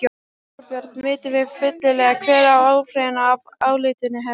Þorbjörn, vitum við fyllilega hver áhrifin af álitinu eru?